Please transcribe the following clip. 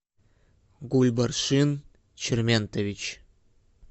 гульбаршин черментович